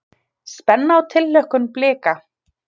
Spenna og tilhlökkun Blika